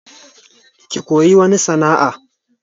Ki koyi wani sana'a!